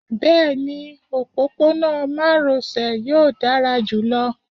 bẹẹni, ọpọpọnọ maròsè yọọ dara julọ.